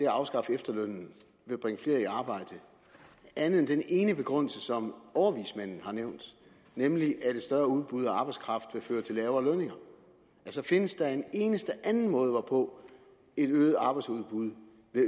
afskaffe efterlønnen vil bringe flere i arbejde andet end den ene begrundelse som overvismanden har nævnt nemlig at et større udbud af arbejdskraft vil føre til lavere lønninger altså findes der en eneste anden måde hvorpå et øget arbejdsudbud